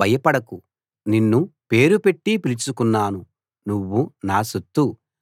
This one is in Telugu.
భయపడకు నిన్ను పేరుపెట్టి పిలుచుకున్నాను నువ్వు నా సొత్తు